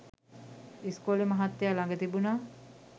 ඉස්කෝලෙ මහත්තයා ලග තිබුනා